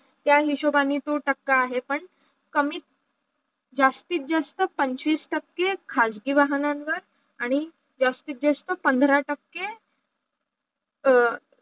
त्या निशोबानी दोन टाक्या आहे पण कमी जास्ती जास्त पंचवीस टाके खाजगी वाहणांवर आणी जास्ती जास्त पांढरा टाके